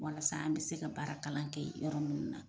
Walasa an be se ka baara kalan kɛ yɔrɔ nunnu na.